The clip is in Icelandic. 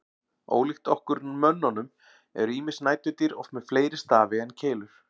Ólíkt okkur mönnunum eru ýmis næturdýr oft með fleiri stafi en keilur.